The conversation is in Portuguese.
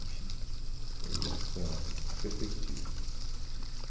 Enfim, foi essa a a perspectiva.